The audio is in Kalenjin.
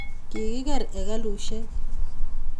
Kikiker hekalusiek